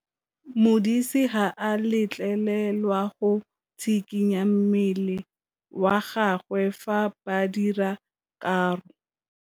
Modise ga a letlelelwa go tshikinya mmele wa gagwe fa ba dira karô.